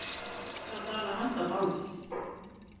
Hundrað dala handaband